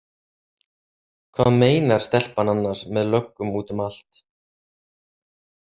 Hvað meinar stelpan annars með löggum út um allt?